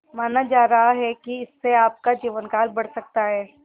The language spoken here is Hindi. माना जा रहा है कि इससे आपका जीवनकाल बढ़ सकता है